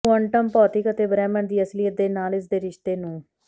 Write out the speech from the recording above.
quantum ਭੌਤਿਕ ਅਤੇ ਬ੍ਰਹਿਮੰਡ ਦੀ ਅਸਲੀਅਤ ਦੇ ਨਾਲ ਇਸ ਦੇ ਰਿਸ਼ਤੇ ਨੂੰ